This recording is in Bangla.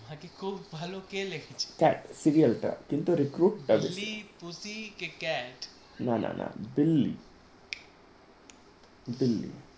খুব ভালো সিরিয়াল ওইটা আমার খুব ভালো লেগেছে কে